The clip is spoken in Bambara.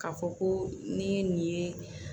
Ka fɔ ko ni ye nin ye